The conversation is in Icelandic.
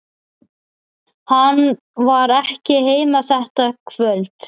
Hann var ekki heima þetta kvöld.